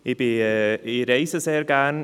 Ich reise sehr gerne.